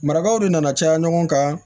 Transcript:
Marakaw de nana caya ɲɔgɔn kan